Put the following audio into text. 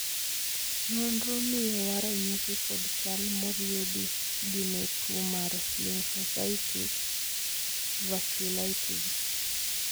nonro miyowa ranyisi kod chal moriedi gi ne tuo mar Lymphocytic vasculitis